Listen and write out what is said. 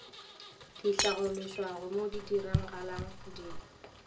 di hlaološwago mo ditiragalong di